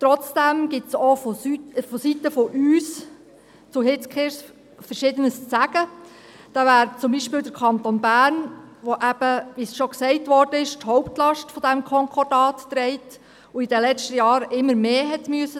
Trotzdem gibt es von unserer Seite Verschiedenes zu Hitzkirch zu sagen, so zum Beispiel, dass der Kanton Bern, wie schon erwähnt, die Hauptlast dieses Konkordats trägt und während den letzten Jahren immer mehr hat tragen müssen.